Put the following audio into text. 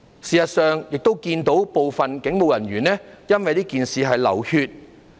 事實上，我們亦看到部分警務人員因為這事件而流血。